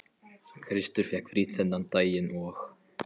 Kristur fékk frí þennan daginn og